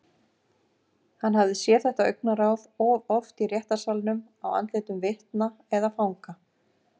Hann hafði séð þetta augnaráð of oft í réttarsalnum á andlitum vitna eða fanga.